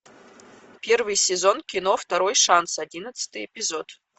первый сезон кино второй шанс одиннадцатый эпизод